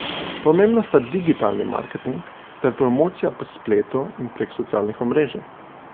Pomembna sta digitalni marketing ter promocija po spletu in prek socialnih omrežij.